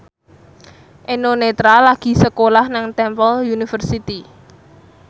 Eno Netral lagi sekolah nang Temple University